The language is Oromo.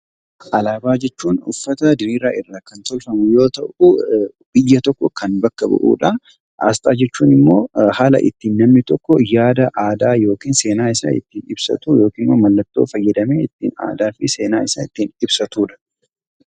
Alaabaa jechuun uffata diriira irra kan tolfamu yoo ta'u, biyya tokko kan bakka bu'udha. asxaa jechuun immoo haala ittin namni tokko yaada, aadaa yookiin seena isa ittin ibsatu yookiin mallattoo fayyadamee aadaa fi seenaa isa ittin ibsatudha.